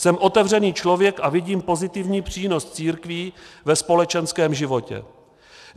Jsem otevřený člověk a vidím pozitivní přínos církví ve společenském životě.